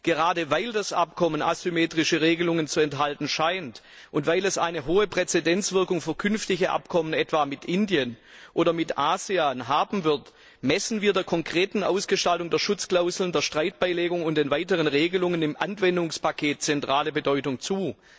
Gerade weil das Abkommen asymmetrische Regelungen zu enthalten scheint und weil es eine hohe Präzedenzwirkung für künftige Abkommen etwa mit Indien oder mit ASEAN haben wird, messen wir der konkreten Ausgestaltung der Schutzklauseln, der Streitbeilegung und den weiteren Regelungen im Anwendungspaket zentrale Bedeutung zu.